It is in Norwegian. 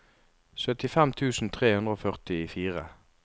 syttifem tusen tre hundre og førtifire